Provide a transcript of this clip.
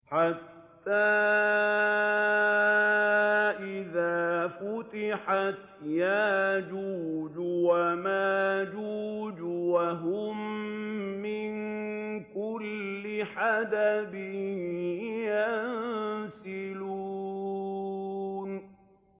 حَتَّىٰ إِذَا فُتِحَتْ يَأْجُوجُ وَمَأْجُوجُ وَهُم مِّن كُلِّ حَدَبٍ يَنسِلُونَ